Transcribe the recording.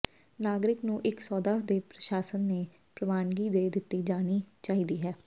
ਨਾਗਰਿਕ ਨੂੰ ਇੱਕ ਸੌਦਾ ਦੇ ਪ੍ਰਸ਼ਾਸਨ ਨੇ ਪ੍ਰਵਾਨਗੀ ਦੇ ਦਿੱਤੀ ਜਾਣੀ ਚਾਹੀਦੀ ਹੈ